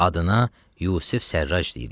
Adına Yusif Sərraç deyirlər.